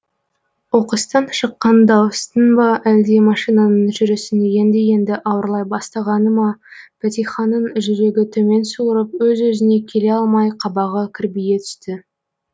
оқыстан шыққан дауыстың ба әлде машинаның жүрісін енді енді ауырлай бастағаны ма бәтиханың жүрегі төмен суырып өз өзіне келе алмай қабағы кірбие түсті